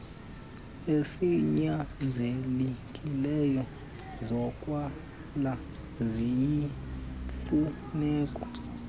ezinyanzelekileyo zokwala ziyimfuneko